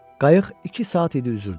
Qayıq iki saat idi üzürdü.